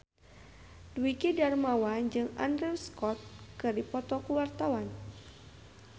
Dwiki Darmawan jeung Andrew Scott keur dipoto ku wartawan